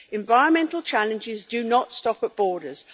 Environmental challenges do not stop at borders.